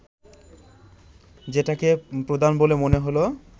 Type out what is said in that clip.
যেটাকে প্রধান বলে মনে হল